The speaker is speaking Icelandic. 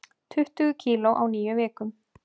Tuttugu kíló á níu vikum